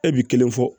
E bi kelen fɔ